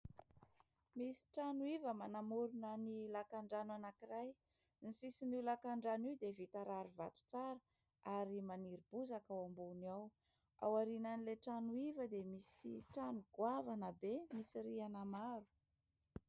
Misy trano iva, manamorona ny lakan-drano anankiray. Ny sisin'io lakan-drano io dia vita rarivato tsara ary maniry bozaka ao ambony ao. Ao aorianan'ilay trano iva dia misy trano goavana be misy rihana maro.